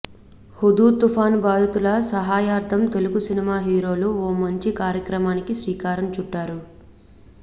Hudhud తుఫాను బాధితుల సహాయార్ధం తెలుగు సినిమా హీరోలు ఓ మంచి కార్యక్రమానికి శ్రీకారం చుట్టారు